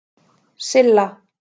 Silla